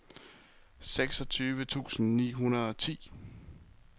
seksogtyve tusind ni hundrede og ti